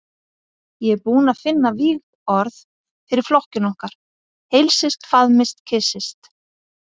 Ég er búinn að finna vígorð fyrir flokkinn okkar: Heilsist, faðmist, kyssist.